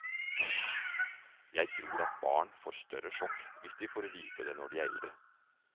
Jeg tror at barn får større sjokk hvis de får vite det når de er eldre.